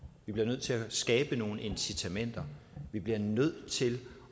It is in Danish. vi bliver nødt til at skabe nogle incitamenter vi bliver nødt til